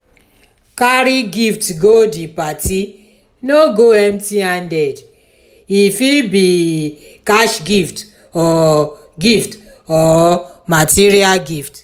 carry gift go the parti no go empty handed e fit be cash gift or gift or material gift